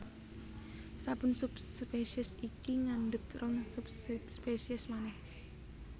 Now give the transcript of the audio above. Saben subspesies iki ngandhut rong subspesies manèh